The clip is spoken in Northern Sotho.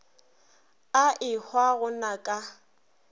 a ehwa go na ka